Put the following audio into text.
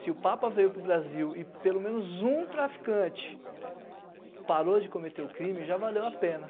Se o Papa veio para o Brasil e pelo menos um traficante parou de cometer o crime, já valeu a pena.